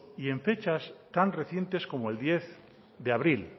y en fechas tan recientes como el diez de abril